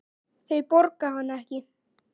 Þau borga hann ekki.